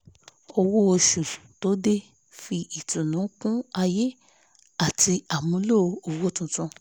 owó oṣù tó dé fi ìtùnú kún ayé àti àmúlò owó tuntun